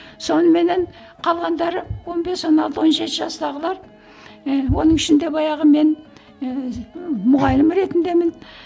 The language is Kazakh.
соныменен қалғандары он бес он алты он жеті жастағылар ііі оның ішінде баяғы мен ііі мұғалім ретіндемін